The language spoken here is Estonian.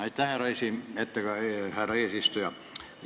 Aitäh, härra eesistuja!